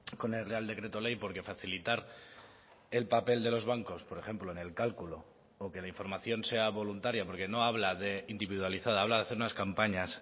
con el real decreto ley porque facilitar el papel de los bancos por ejemplo en el cálculo o que la información sea voluntaria porque no habla de individualizada habla de hacer unas campañas